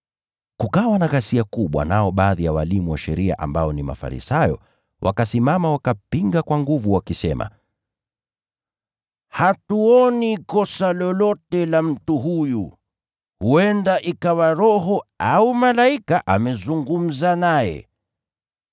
Kukawa na ghasia kubwa, nao baadhi ya walimu wa sheria ambao ni Mafarisayo, wakasimama wakapinga kwa nguvu wakisema, “Hatuoni kosa lolote la mtu huyu! Huenda ikawa roho au malaika amezungumza naye”